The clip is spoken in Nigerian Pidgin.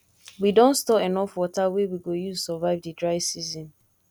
we don store enough water wey we go use survive di dry season